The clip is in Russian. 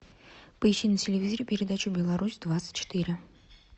поищи на телевизоре передачу беларусь двадцать четыре